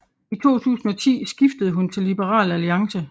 I 2010 skiftede hun til Liberal Alliance